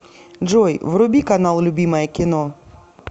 джой вруби канал любимое кино